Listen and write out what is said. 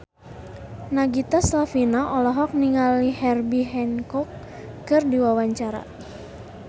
Nagita Slavina olohok ningali Herbie Hancock keur diwawancara